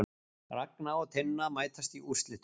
Ragna og Tinna mætast í úrslitum